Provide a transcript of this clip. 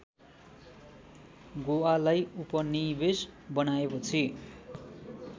गोवालाई उपनिवेश बनाएपछि